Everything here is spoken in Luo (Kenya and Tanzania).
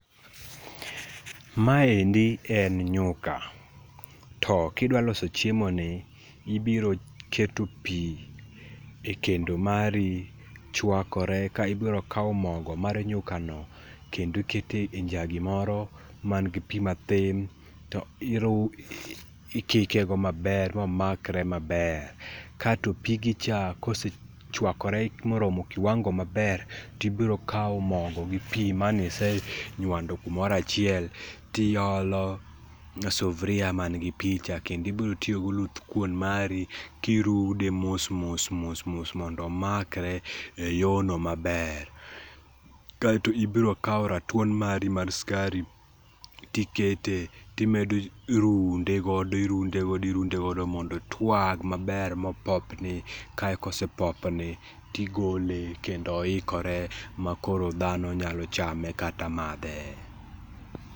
Maendi en nyuka to kidwa loso chiemo ni ibiro keto pii e kendo mari chwakore ka ibiro kao mogo mar nyuka no kendo iketo e njagi moro manigi pii matin to ikike go maber ma omakre maber. Kaito pigi cha kose chwakore moseromo kiwango maber to ibiro kao mogo gi pii mane ise nywando kumoro achiel tiolo e sufria manigi pii cha kendo ibiro tiyo gi oluthkuon mari kirude mos mos mos mondo omakre e yono maber kaito ibiro kaw ratuon mari mar sukari to ikete timedo runde godo, irund godo, irunde godo mondo otwag maber ma opopni kae koseponi tih=gole kendooikore ma dhano nyalo chame kata madhe